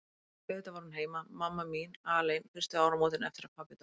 Því auðvitað var hún heima, mamma mín, alein fyrstu áramótin eftir að pabbi dó.